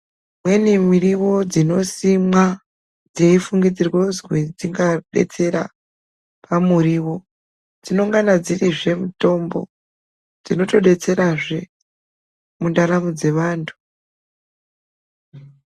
Imweni muriwo dzinosimwa dzeifungidzirwa kuti dzingadetsera pamuriwo dzinongana dzirizve mutombo dzinotdetserazve mundaramo dzevantu.